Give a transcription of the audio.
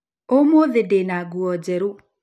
Ũmũthĩ ndĩ na nguo njerũ.